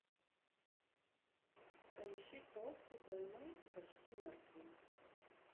поищи толстый больной и почти мертвый